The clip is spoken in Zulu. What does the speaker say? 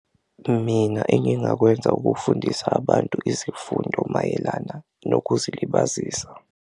Mina engingakwenza ukufundisa abantu izifundo mayelana nokuzilibazisa.